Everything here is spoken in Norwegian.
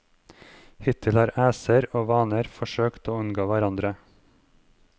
Hittil har æser og vaner forsøkt å unngå hverandre.